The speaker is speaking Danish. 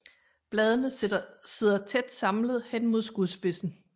Bladene sidder tæt samlet hen mod skudspidsen